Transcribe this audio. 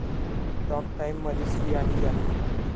talk टाइम'मध्ये 'श्री आणि जान्हवी'